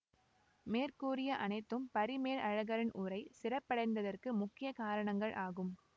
மேற்கூறிய அனைத்தும் பரிமேலழகரின் உரை சிறப்படைந்ததற்கு முக்கிய காரணங்கள் ஆகும்